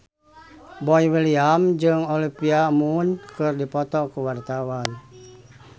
Boy William jeung Olivia Munn keur dipoto ku wartawan